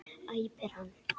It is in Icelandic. æpir hann.